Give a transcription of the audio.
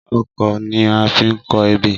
Ọkọ́ ni a fi ń kọ ebè